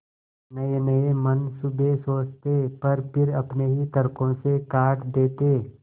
नयेनये मनसूबे सोचते पर फिर अपने ही तर्को से काट देते